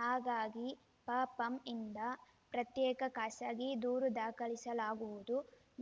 ಹಾಗಾಗಿ ಪ ಪಂಯಿಂದ ಪ್ರತ್ಯೇಕ ಖಾಸಗಿ ದೂರು ದಾಖಲಿಸಲಾಗುವುದು